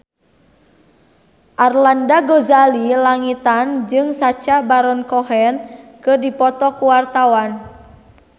Arlanda Ghazali Langitan jeung Sacha Baron Cohen keur dipoto ku wartawan